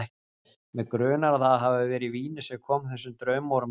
Mig grunar, að það hafi verið vínið sem kom þessum draumórum af stað.